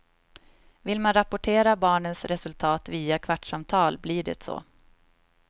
Vill man rapportera barnens resultat via kvartssamtal, blir det så.